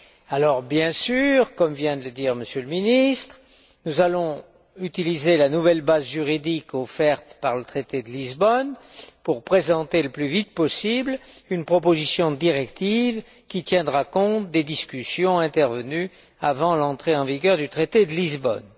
Alors, bien sûr, comme vient de le dire M. le ministre, nous allons utiliser la nouvelle base juridique offerte par le traité de Lisbonne pour présenter, le plus vite possible, une proposition de directive, qui tiendra compte des discussions intervenues avant l'entrée en vigueur du traité de Lisbonne.